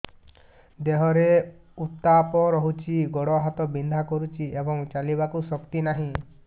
ଦେହରେ ଉତାପ ରହୁଛି ଗୋଡ଼ ହାତ ବିନ୍ଧା କରୁଛି ଏବଂ ଚାଲିବାକୁ ଶକ୍ତି ନାହିଁ